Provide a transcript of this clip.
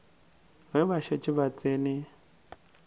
ge ba šetše ba tsene